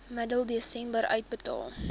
middel desember uitbetaal